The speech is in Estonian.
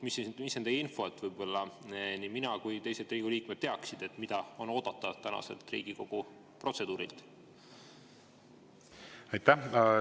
Mis on teie info, et mina ja teised Riigikogu liikmed teaksime, mida on oodata tänaselt Riigikogu protseduurilt?